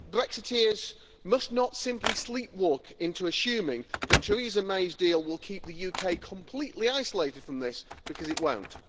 Brexiteers must not simply sleepwalk into assuming that Theresa May's deal will keep the UK completely isolated from this, because it won't.